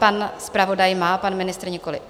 Pan zpravodaj má, pan ministr nikoli.